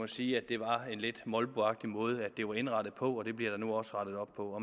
sige at det var en lidt molboagtigt måde det var indrettet på det bliver der nu også rettet op på